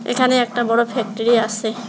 এখানে একটা বড় ফ্যাক্টরি আসে।